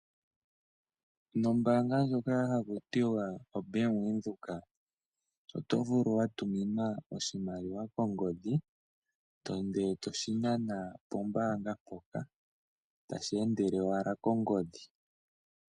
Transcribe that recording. Nombaanga ndjoka haku tiwa oBank Windhoek, oto vulu wa tuminwa oshimaliwa kongodhi, ndele toshi nana pombaanga mpoka, tashi endele owala kongodhi.